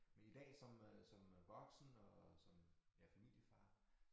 Men i dag som øh som øh voksen og som ja familiefar